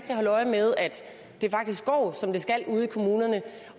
holde øje med at det faktisk går som det skal ude i kommunerne